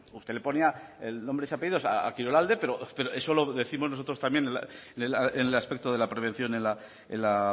usted le ponía nombre y apellidos a kirolalde pero eso lo décimos nosotros también en el aspecto de la prevención en la